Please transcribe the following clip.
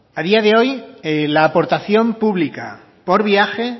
a día de hoy la aportación pública por viaje